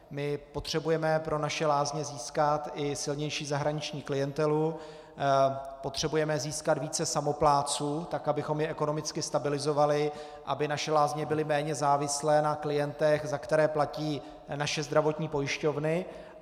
My potřebujeme pro naše lázně získat i silnější zahraniční klientelu, potřebujeme získat více samoplátců tak, abychom je ekonomicky stabilizovali, aby naše lázně byly méně závislé na klientech, za které platí naše zdravotní pojišťovny.